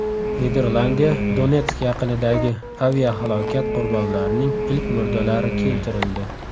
Niderlandiyaga Donetsk yaqinidagi aviahalokat qurbonlarining ilk murdalari keltirildi.